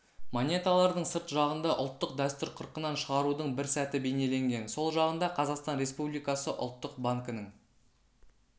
монеталардың сырт жағында ұлттық дәстүр қырқынан шығарудың бір сәті бейнеленген сол жағында қазақстан республикасы ұлттық банкінің